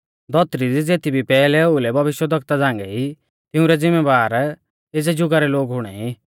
धौतरी दी ज़ेती भी पैहलै ओउलै भविष्यवक्ता झ़ांगै ई तिऊं रै ज़िमैबार एज़ै ज़ुगा रै लोग हुणेई